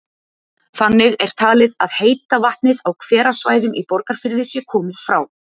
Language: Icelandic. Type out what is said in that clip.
Þannig er talið að heita vatnið á hverasvæðum í Borgarfirði sé komið frá